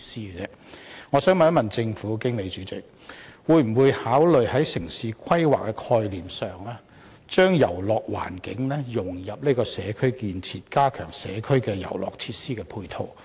因此，我想問政府，在進行城市規劃時，會否考慮把遊樂元素融入社區建設，藉此加強社區遊樂設施的配套？